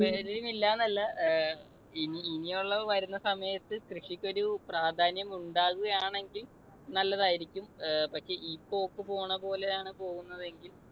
താല്പര്യമില്ല എന്നല്ല. ഏർ ഇനിയുള്ള വരുന്ന സമയത്ത് കൃഷിക്ക് ഒരു പ്രാധാന്യം ഉണ്ടാവുകയാണെങ്കിൽ നല്ലതായിരിക്കും. ഏർ പക്ഷെ ഈ പോക്ക് പോണ പോലെയാണ് പോകുന്നതെങ്കിൽ